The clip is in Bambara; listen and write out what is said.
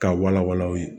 K'a wala wala aw ye